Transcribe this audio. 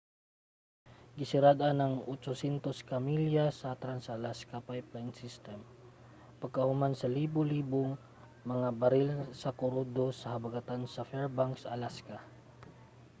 gisarad-an ang 800 ka milya sa trans-alaska pipeline system pagkahuman sa libu-libong mga baril sa krudo sa habagatan sa fairbanks alaska